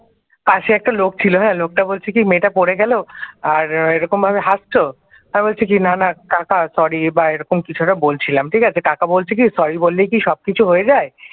পাশে একটা লোক ছিল হ্যাঁ, লোকটা বলছে কি মেয়েটা পড়ে গেল আর এরকমভাবে হাসছো, আমি বলছি কি না না কাকা sorry বা এরকম কিছু একটা বলছিলাম ঠিক আছে কাকা বলছে কি সরি বললেই কি সব কিছু হয়ে যায়।